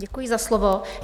Děkuji za slovo.